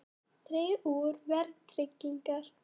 Dregið úr vægi verðtryggingar